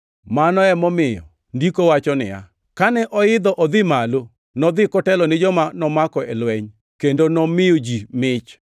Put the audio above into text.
Mano emomiyo Ndiko wacho niya, “Kane oidho odhi malo, nodhi kotelo ni joma nomako e lweny, kendo nomiyo ji mich.” + 4:8 \+xt Zab 68:18\+xt*